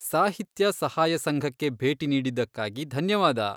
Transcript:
ಸಾಹಿತ್ಯ ಸಹಾಯ ಸಂಘಕ್ಕೆ ಭೇಟಿ ನೀಡಿದ್ದಕ್ಕಾಗಿ ಧನ್ಯವಾದ.